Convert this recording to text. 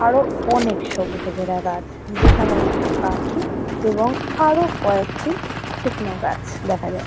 আরও অনেক সবুজে ঘেরা গাছ। যেখানে একটি পাখি এবং আরও কয়েকটি শুকনো গাছ দেখা যা--